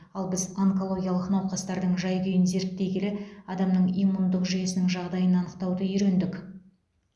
ал біз онкологиялық науқастардың жай күйін зерттей келе адамның иммундық жүйесінің жағдайын анықтауды үйрендік